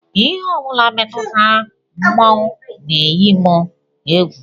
Ihe ọ bụla metụtara mmọnwụ na-eyi m egwu